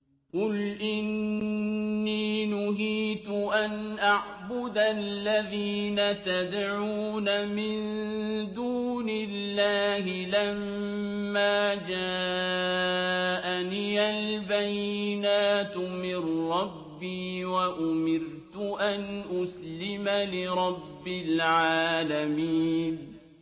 ۞ قُلْ إِنِّي نُهِيتُ أَنْ أَعْبُدَ الَّذِينَ تَدْعُونَ مِن دُونِ اللَّهِ لَمَّا جَاءَنِيَ الْبَيِّنَاتُ مِن رَّبِّي وَأُمِرْتُ أَنْ أُسْلِمَ لِرَبِّ الْعَالَمِينَ